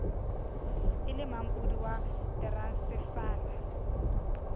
e le mampodi wa teransefala